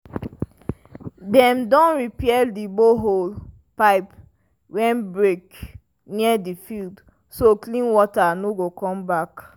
dem don repair the borehole pipe wey break near the field so clean water go come back.